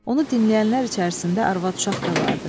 Onu dinləyənlər içərisində arvad-uşaq da vardı.